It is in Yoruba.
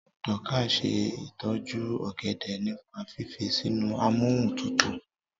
Dorcas se itoju ògèdè nípa fífi sínú Amóhuntutù.